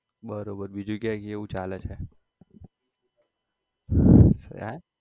બરોબર બીજું કે કેવું ચાલે છે હે?